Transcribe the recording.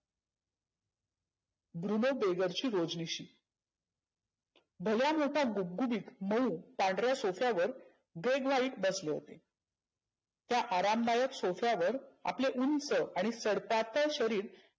Bruno दे ची रोज रोजनिष भला मोठा गुबगुबीत मऊ पांढऱ्या सोफ्यावर व्हाईट बसले होते. त्या आरामदायक सोफ्यावर आपले उंच आणि सडपात्तळ शरीर